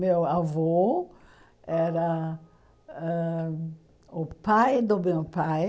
Meu avô era ãh o pai do meu pai.